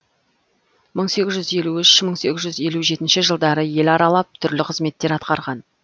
мың сегіз жүз елу үш мың сегіз жүз елу жетінші жылдары ел аралап түрлі қызметтер атқарған